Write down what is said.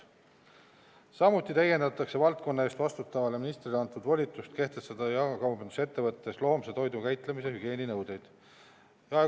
Samuti täiendatakse valdkonna eest vastutavale ministrile antud volitust kehtestada jaekaubandusettevõttes loomse toidu käitlemise hügieeninõudeid.